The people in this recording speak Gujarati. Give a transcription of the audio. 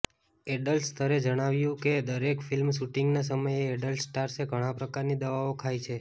એડલ્ટ સ્તરે જણાવ્યું કે દરેક ફિલ્મ શૂટિંગના સમયે એડલ્ટ સ્ટાર્સે ઘણા પ્રકારની દવાઓ ખાય છે